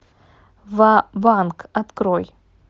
ва банк открой